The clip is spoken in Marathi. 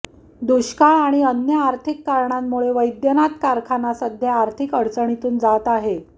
दुष्काळ आणि अन्य आर्थिक कारणांमुळे वैद्यनाथ कारखाना सध्या आर्थिक अडचणीतून जात आहे